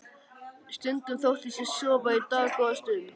Stundum þóttist ég sofa í dágóða stund.